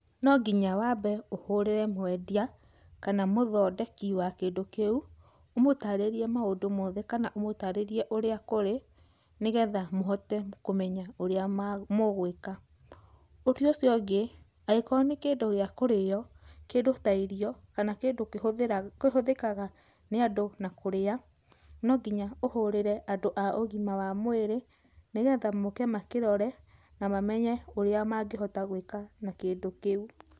No nginya wambe ũhũrĩre mwendia kana mũthondeki wa kĩndũ kĩu, ũmũtarerie maũndũ mothe, kana ũmũtarerie ũrĩa kũrĩ , nĩgetha mũhote kũmenya ũrĩa mũgwĩka. Ũndũ ũcio ũngĩ, angĩkorwo nĩ kĩndũ gĩa kũrĩo, kĩndũ ta irio, kana kĩndũ kĩhũthĩkaga nĩ andũ na kũrĩa, nonginya ũhũrĩre andũ a ũgĩma wa mwĩrĩ, nĩgetha moke makĩrore na mamenye ũrĩa mangĩhota gwĩka na kĩndũ kĩu.